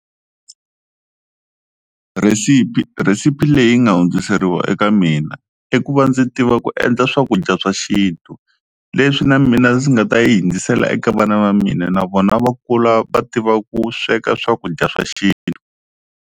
Rhesipi rhesipi leyi nga hundziseriwa eka mina i ku va ndzi tiva ku endla swakudya swa xintu leswi na mina ndzi nga ta yi hundzisela eka vana va mina na vona va kula va tiva ku sweka swakudya swa xintu.